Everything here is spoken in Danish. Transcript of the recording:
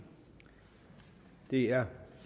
det er